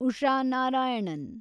Usha Narayanan